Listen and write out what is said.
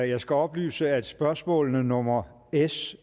jeg skal oplyse at spørgsmålene nummer s